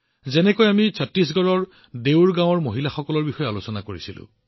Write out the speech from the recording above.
যেনেকৈ আমি ছত্তীশগড়ৰ ডেউৰ গাঁৱৰ মহিলাসকলৰ বিষয়ে আলোচনা কৰিছিলো